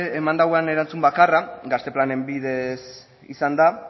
eman duen erantzun bakarra gazte planen bidez izan da